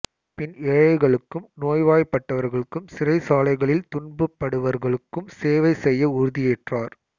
பின் ஏழைகளுக்கும் நோய்வாய்ப்பட்டவர்களுக்கும் சிறைச்சாலைகளில் துன்பப்படுவர்களுக்கும் சேவை செய்ய உறுதியேற்றார்